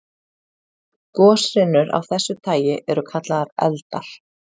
Goshrinur af þessu tagi eru kallaðar eldar.